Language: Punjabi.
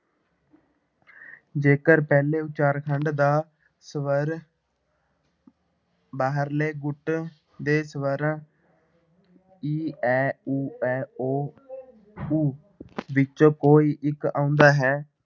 ਜੇਕਰ ਪਹਿਲੇ ਉਚਾਰਖੰਡ ਦਾ ਸਵਰ ਬਾਹਰਲੇ ਗੁੱਟ ਦੇ ਸਵਰਾਂ ਈ, ਐ, ਊ, ਐ, ਓ ਊ ਵਿੱਚੋਂ ਕੋਈ ਇੱਕ ਆਉਂਦਾ ਹੈ,